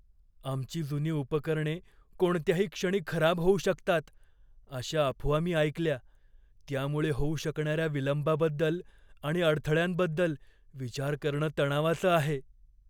आमची जुनी उपकरणे कोणत्याही क्षणी खराब होऊ शकतात अशा अफवा मी ऐकल्या. त्यामुळे होऊ शकणाऱ्या विलंबाबद्दल आणि अडथळ्यांबद्दल विचार करणं तणावाचं आहे.